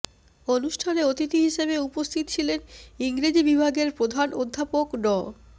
অনুষ্ঠানে অতিথি হিসেবে উপস্থিত ছিলেন ইংরেজি বিভাগের প্রধান অধ্যাপক ড